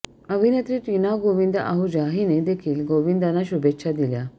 अभिनेत्री टिना गोविंदा आहुजा हिने देखील गोविंदाना शुभेच्छा दिल्या